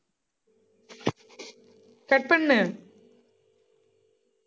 cut பண்ணு